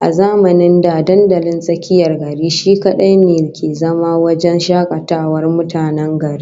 A zamanin da dandalin tsakiyar gari shi kadai ne ke zama wajen shakatawar mutanen gari